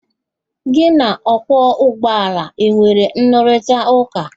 Gị na ọkwọ ụgbọala e nwere nrụrịtaụ́ká?